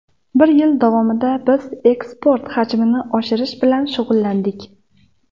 Bir yil davomida biz eksport hajmini oshirish bilan shug‘ullandik.